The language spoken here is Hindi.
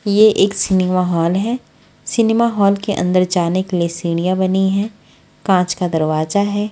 ये एक सिनेमा हॉल है। सिनेमा हॉल के अंदर जाने के लिए सीढ़ियां बनी है। कांच का दरवाजा है।